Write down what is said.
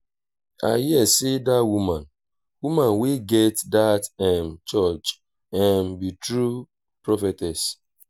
i hear say dat woman woman wey get dat um church um be true prophetess